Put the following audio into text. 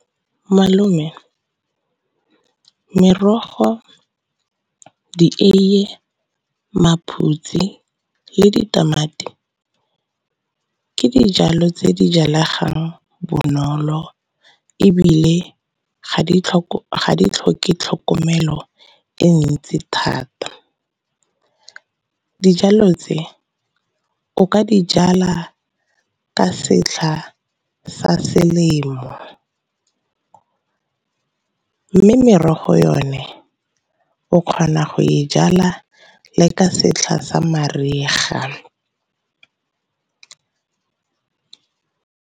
Malome merogo, dieiye, maphutsi le ditamati ke dijalo tse di jalegang bonolo, ebile ga di tlhoke tlhokomelo e ntsi thata. Dijalo tse o ka dijala ka setlha sa selemo, mme merogo yone o kgona go e jala le ka setlha sa mariga.